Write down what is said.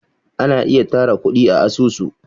ana ayi tara kudi a asusu